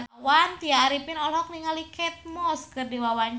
Tya Arifin olohok ningali Kate Moss keur diwawancara